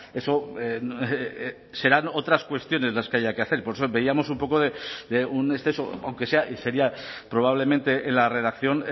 eso serán otras cuestiones las que haya que hacer por eso veíamos un poco de un exceso aunque sea y sería probablemente en la redacción